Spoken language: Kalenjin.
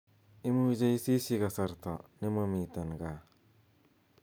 imuche isisyi kasarta nemomiten gaa